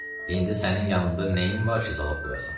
İndi sənin yanında nəyin var ki, zalog qoyasan?